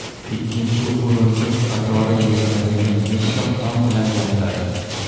Ikkinchi o‘rindiq qatori yig‘iladigan yumshoq tom bilan yopiladi.